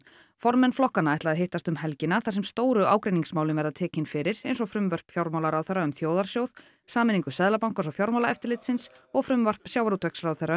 formenn flokkanna ætla að hittast um helgina þar sem stóru ágreiningsmálin verða tekin fyrir eins og frumvörp fjármálaráðherra um þjóðarsjóð sameiningu Seðlabankans og Fjármálaeftirlitsins og frumvarp sjávarútvegsráðherra